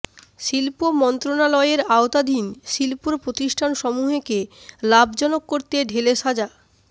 শিল্প মন্ত্রণালয়ের আওতাধীন শিল্প প্রতিষ্ঠানসমূহকে লাভজনক করতে ঢেলে সাজ